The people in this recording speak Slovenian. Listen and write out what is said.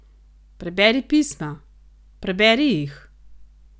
Preberi pisma, preberi jih!